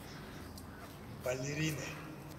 балерины